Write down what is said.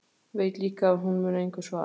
Veit líka að hún mun engu svara.